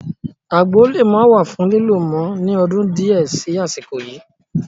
Àgbo le maa wà fún lílo mọ ni ọdún di ẹ sì àsìkò yìí